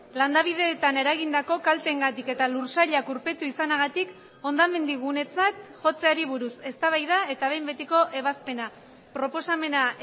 landabideetan eragindako kalteengatik eta lursailak urpetu izanagatik hondamendi gunetzat jotzeari buruz eztabaida eta behin betiko ebazpena proposamena